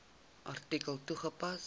artikel toegepas